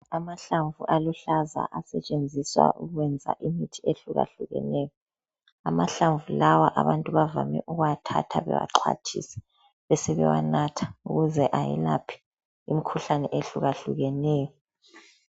Amahlamvu aluhlaza asentshenziswa ukwenza imithi ehlukahlukeneyo. Amahlamvu lawa bajwayele ukuwathatha besebewaxhwathisa besebenatha ukuze ayelaphe imikhuhlane ehlukahlukeneyo.